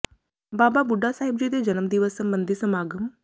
ਬਾਬਾ ਬੁੱਢਾ ਸਾਹਿਬ ਜੀ ਦੇ ਜਨਮ ਦਿਵਸ ਸਬੰਧੀ ਸਮਾਗਮ